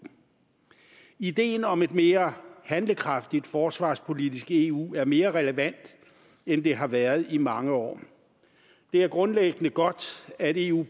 ideen om et mere handlekraftigt forsvarspolitisk eu er mere relevant end det har været i mange år det er grundlæggende godt at eu